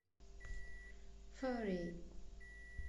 фурри